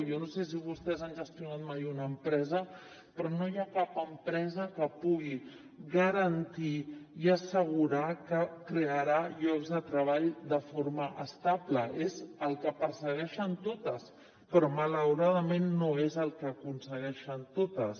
jo no sé si vostès han gestionat mai una empresa però no hi ha cap empresa que pugui garantir i assegurar que crearà llocs de treball de forma estable és el que persegueixen totes però malauradament no és el que aconsegueixen totes